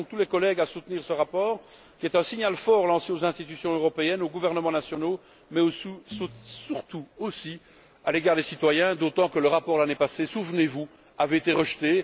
J'appelle donc tous les collègues à soutenir ce rapport, qui est un signal fort lancé aux institutions européennes, aux gouvernements nationaux mais aussi et surtout à l'égard des citoyens, d'autant que le rapport, l'année passée, souvenez vous, avait été rejeté.